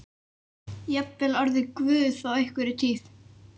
Jafnvel orðið guð á einhverri tíð.